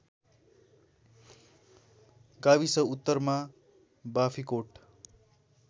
गाविस उत्तरमा बाँफीकोट